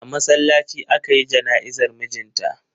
A masallaci aka yi jana'izar mijin ta.